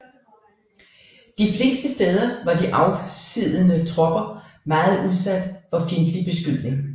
De fleste steder var de afsiddede tropper meget udsat for fjendtlig beskydning